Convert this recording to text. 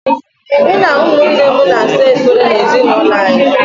Mụ na ụmụnne m na-asa efere n'ezinaụlọ anyị.